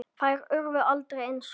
Þær urðu aldrei eins góðar.